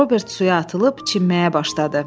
Robert suya atılıb çimməyə başladı.